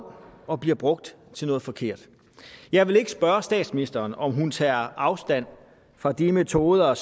og bliver brugt til noget forkert jeg vil ikke spørge statsministeren om hun tager afstand fra de metoder